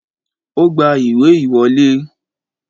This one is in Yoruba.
O gba ìwé ìwọlé